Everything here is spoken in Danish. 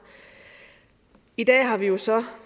i dag har vi jo så